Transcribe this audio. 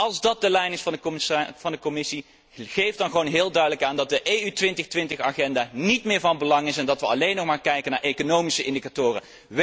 dan. Als dat de lijn is van de Commissie, geef dan gewoon heel duidelijk aan dat de EU 2020 agenda niet meer van belang is en dat we alleen nog maar kijken naar economische indicatoren.